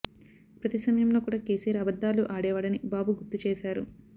ప్రతి సమయంలో కూడ కేసీఆర్ అబద్దాలు ఆడేవాడని బాబు గుర్తు చేశారు